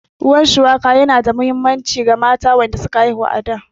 Ruwan shuwaka yana da muhimmanci wa mata da suka haifu a da